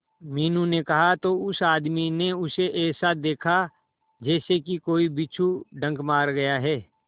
मीनू ने कहा तो उस आदमी ने उसे ऐसा देखा जैसे कि कोई बिच्छू डंक मार गया है